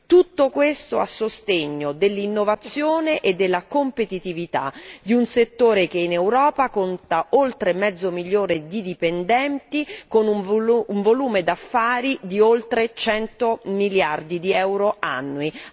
Tutto questo a sostegno dell'innovazione e della competitività di un settore che in Europa conta oltre mezzo milione di dipendenti, con un volume d'affari di oltre cento miliardi di euro annui.